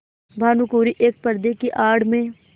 भानुकुँवरि एक पर्दे की आड़ में